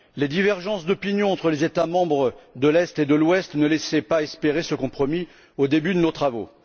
Les divergences d'opinion entre les États membres de l'Est et de l'Ouest ne laissaient pas espérer ce compromis au début de nos travaux.